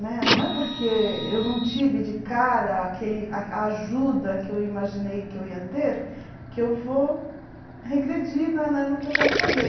Né não é porque eu não tive de cara aquele a a ajuda que eu imaginei que eu ia ter que eu vou regredir na na no que eu quero fazer.